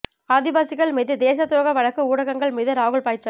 ஆதிவாசிகள் மீது தேசத் துரோக வழக்கு ஊடகங்கள் மீது ராகுல் பாய்ச்சல்